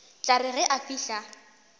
tla re ge a fihla